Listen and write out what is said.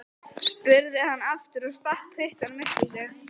spurði hann aftur og stakk puttanum upp í sig.